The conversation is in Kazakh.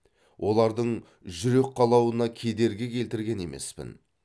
олардың жүрек қалауына кедергі келтірген емеспін